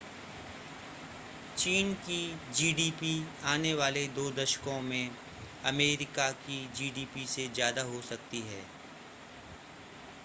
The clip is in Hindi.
चीन की जीडीपी आने वाले दो दशकों मे अमेरिका की जीडीपी से ज्यादा हो सकती है